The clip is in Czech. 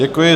Děkuji.